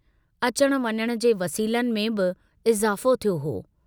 अचण वञण जे वसीलनि में बि इज़ाफ़ो थियो हो।